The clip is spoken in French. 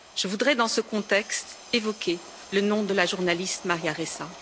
Je voudrais dans ce contexte évoquer le nom de la journaliste Maria Ressa.